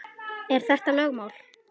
Er þetta eitthvað lögmál?